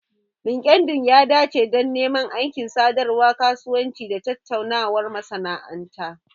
Linkedln ya dace don neman aiki, sadarwar kasuwanci, da tattaunawar masana'anta